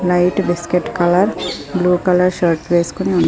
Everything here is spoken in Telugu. light biscuit colour blue colour shirt వేసుకొని ఉన్ --